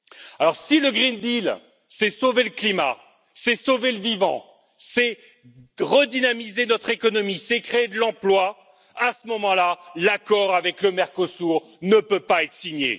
Alors si le pacte vert, c'est sauver le climat, c'est sauver le vivant, c'est redynamiser notre économie, c'est créer de l'emploi, à ce moment là, l'accord avec le Mercosur ne peut pas être signé.